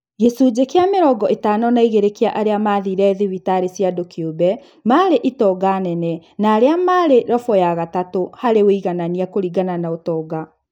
Gĩcunjĩ kĩa mĩrongo ĩtano na igĩrĩ kĩa arĩa mathire thibitarĩ cia andũ kĩũmbe marĩ itonga nene na arĩa marĩ robo ya gatatũ harĩ wũiganania kũringana na ũtonga